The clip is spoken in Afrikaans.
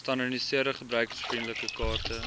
gestandaardiseerde gebruikervriendelike kaarte